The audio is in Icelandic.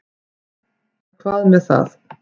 En hvað með það.